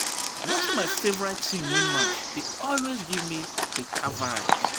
Watching my favorite team win match dey always give me beta vibes.